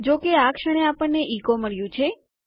જો કે આ ક્ષણે આપણને ઇકો મળ્યું છે